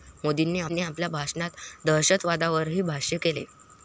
मोदींनी आपल्या भाषणात दहशतवादावरही भाष्य केलं.